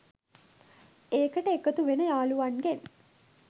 ඒකට එකතු වෙන යාළුවන්ගෙන්